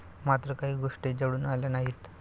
मात्र काही गोष्टी जुळून आल्या नाहीत.